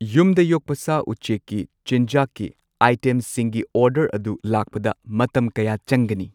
ꯌꯨꯝꯗ ꯌꯣꯛꯄ ꯁꯥ ꯎꯆꯦꯛꯀꯤ ꯆꯤꯟꯖꯥꯛꯀꯤ ꯑꯥꯏꯇꯦꯝꯁꯤꯡꯒꯤ ꯑꯣꯔꯗꯔ ꯑꯗꯨ ꯂꯥꯛꯄꯗ ꯃꯇꯝ ꯀꯌꯥ ꯆꯪꯒꯅꯤ?